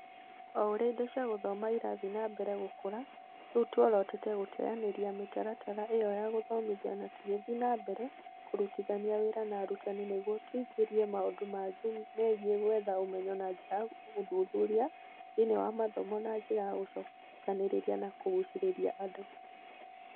O ũrĩa indo cia gũthoma irathiĩ na mbere gũkũra, rĩu tuorotete gũteanĩria mĩtaratara ĩyo ya gũthomithia na tũgĩthiĩ na mbere kũrutithania wĩra na arutani nĩguo tũingĩrie maũndũ mangĩ megiĩ gwetha ũmenyo na njĩra ya ũthuthuria thĩinĩ wa mathomo na njĩra ya gũcokanĩrĩria na kũgũcĩrĩria andũ